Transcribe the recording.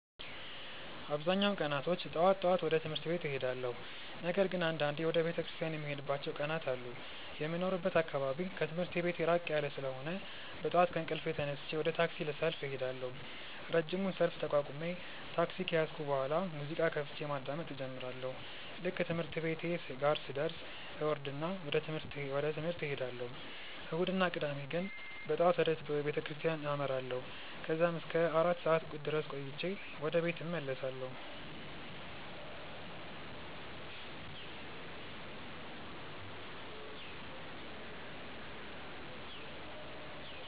አብዛኛውን ቀናቶች ጠዋት ጠዋት ወደ ትምህርት ቤት እሄዳለሁ። ነገር ግን አንዳንዴ ወደ ቤተክርስቲያን የምሄድባቸው ቀናት አሉ። የሚኖርበት አካባቢ ከትምህርት ቤቴ ራቅ ያለ ስለሆነ በጠዋት ከእንቅልፌ ተነስቼ ወደ ታክሲ ሰልፍ እሄዳለሁ። ረጅሙን ሰልፍ ተቋቁሜ ታክሲ ከያዝኩ በኋላ ሙዚቃ ከፍቼ ማዳመጥ እጀምራለሁ። ልክ ትምህርት ቤቴ ጋር ስደርስ እወርድና ወደ ትምህርት እሄዳለሁ። እሁድ እና ቅዳሜ ግን በጠዋት ወደ ቤተክርስቲያን አመራለሁ። ከዛም እስከ አራት ሰዓት ድረስ ቆይቼ ወደ ቤት እመለሳለሁ።